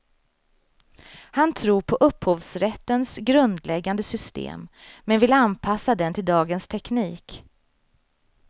Han tror på upphovsrättens grundläggande system, men vill anpassa den till dagens teknik.